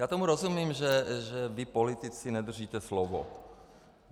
Já tomu rozumím, že vy politici nedržíte slovo.